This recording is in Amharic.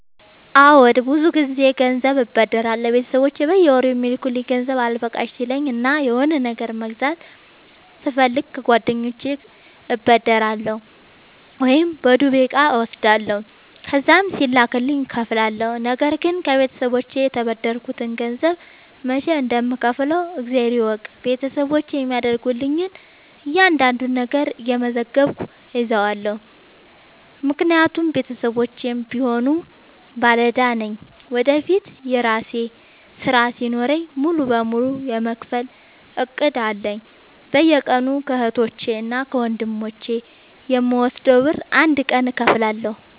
አዎድ ብዙ ግዜ ገንዘብ አበደራለሁ ቤተሰቦቼ በየወሩ የሚልኩልኝ ገንዘብ አልበቃሽ ሲለኝ እና የሆነ ነገር መግዛት ስፈልግ ከጓደኞቼ እበደራለሁ። ወይም በዱቤ እቃ እወስዳለሁ ከዛም ሲላክልኝ እከፍላለሁ። ነገርግን ከቤተሰቦቼ የተበደርከትን ገንዘብ መች እንደም ከውፍለው እግዜር ይወቅ ቤተሰቦቼ የሚያደርጉልኝን እያንዳዷን ነገር እየመዘገብኩ እይዛለሁ። ምክንያቱም ቤተሰቦቼም ቢሆኑ ባለዳ ነኝ ወደፊት የራሴ ስራ ሲኖረኝ ሙሉ በሙሉ የመክፈል እቅድ አለኝ። በየቀኑ ከህቶቼ እና ከወንድሞቼ የምወስደውን ብር አንድ ቀን እከፍላለሁ።